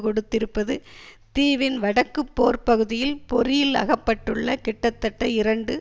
கொடுத்திருப்பது தீவின் வடக்கு போர்ப்பகுதியில் பொறியில் அகப்பட்டுள்ள கிட்டத்தட்ட இரண்டு